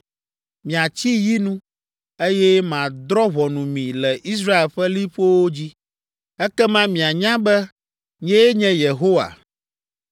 Miatsi yi nu, eye madrɔ̃ ʋɔnu mi le Israel ƒe liƒowo dzi. Ekema mianya be nyee nye Yehowa.